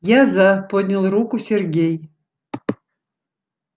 я за поднял руку сергей